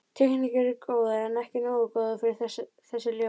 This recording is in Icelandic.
Teikningarnar eru góðar, en ekki nógu góðar fyrir þessi ljóð.